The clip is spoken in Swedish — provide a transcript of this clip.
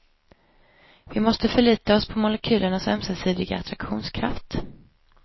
Vi måste förlita oss på molekylernas ömsesidiga attraktionskraft.